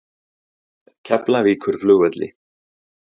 Keflavíkurflugvelli